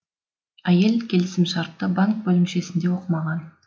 әйел келісімшартты банк бөлімшесінде оқымаған